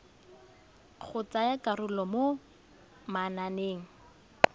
go tsaya karolo mo mananeng